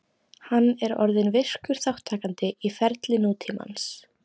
Hann er orðinn virkur þátttakandi í ferli nútímans.